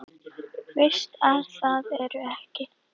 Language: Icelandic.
Veist að það ertu ekki.